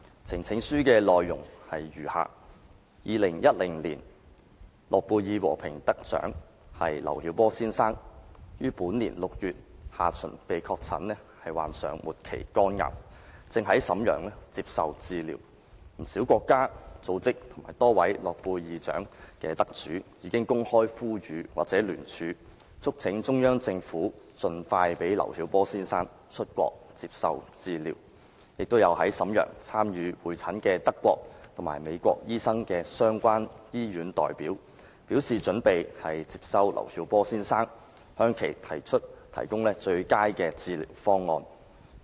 呈請書的內容如下 ：2010 年諾貝爾和平獎得主劉曉波先生於本年6月下旬被確診患上末期肝癌，正在瀋陽接受治療，不少國家、組織及多位諾貝爾獎得主已經公開呼籲或聯署，促請中央政府盡快讓劉曉波先生出國接受治療，亦有在瀋陽參與會診的德國及美國醫生的相關醫院代表，表示準備接收劉曉波先生，向其提供最佳的治療方案。